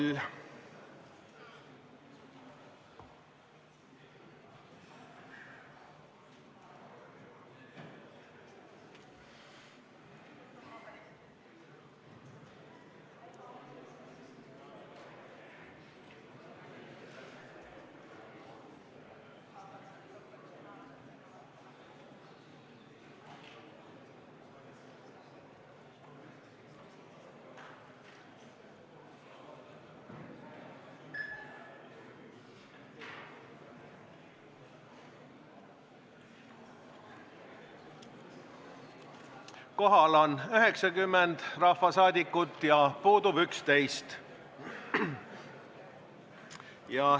Kohaloleku kontroll Kohal on 90 rahvasaadikut ja puudub 11.